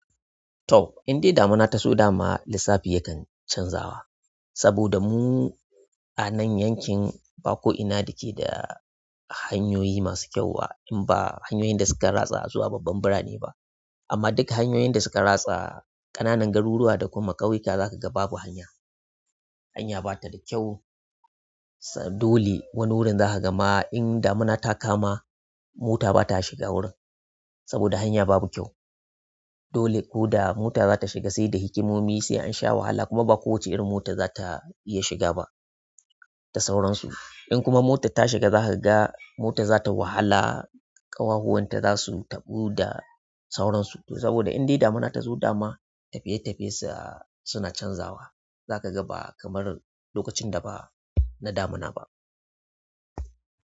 To, in dai damuna ta zo dama, lissafi yakan canzawa, saboda mu, anan yankin, ba ko ina da ke da, hanyoyi masu kyau in ba hanyoyin da suka ratsa zuwa babban birane ba. Amma duka hanyoyin da suka ratsa, ƙananan garuruwa da kuma ƙauyuka za ka ga babu hanya. Hanya ba ta da kyau, dole wani wurin za ka ga ma in damuna ta kama, mota ba ta shiga wurin, saboda hanya babu kyau. Dole ko da mota za ta shiga sai da hikimomi, sai an sha wahala kuma ba kowace irin mota za ta iya shiga ba, da sauransu. In kuma motar ta shiga za ka ga, mota za ta wahala, ƙawahuwan ta za su tabu da, sauransu. Saboda in dai damuna ta zo dama, tafiye-tafiye sa, suna canzawa. Zakaga ba kamar lokacin da ba, na damuna ba.